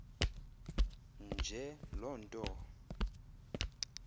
nje loo nto